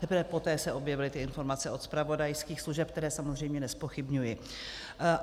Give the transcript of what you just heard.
Teprve poté se objevily ty informace od zpravodajských služeb, které samozřejmě nezpochybňuji.